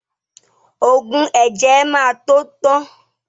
Ògùn ẹ̀jẹ̀ ẹ má tó tán